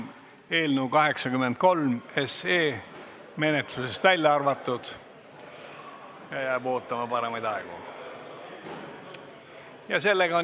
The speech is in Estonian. Eelnõu 83 on menetlusest välja arvatud ja jääb ootama paremaid aegu.